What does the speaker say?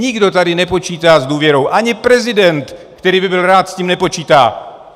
Nikdo tady nepočítá s důvěru, ani prezident, který by byl rád, s tím nepočítá.